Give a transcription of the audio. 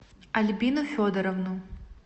альбину федоровну